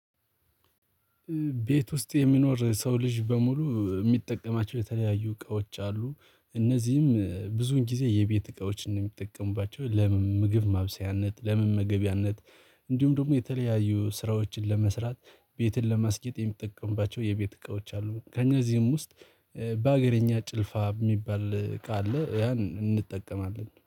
ቤት ውስጥ የሚኖር ሰው ልጅ በሙሉ የሚጠቀማቸው የተለያዩ እቃዎች አሉ፤ እነዚህም ብዙን ጊዜ የቤት እቃዎችን ነው የሚጠቀሙባቸው። ለምን ምግብ ማብሰያነት፣ ለምን መገቢያነት ደግሞ የተለያዩ ስራዎችን ለመስራት፣ ቤትን ለማስገጥ የሚጠቀምባቸው የቤት እቃዎች አሉ። ከእዚህም ውስጥ በሀገረኛ ጭልፋ የሚባል እቃ አለ። ያን እንጠቀማለን